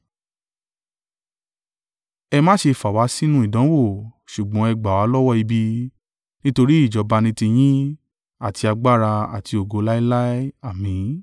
Ẹ má ṣe fà wá sínú ìdánwò, ṣùgbọ́n ẹ gbà wá lọ́wọ́ ibi. Nítorí ìjọba ni tiyín, àti agbára àti ògo, láéláé, Àmín.’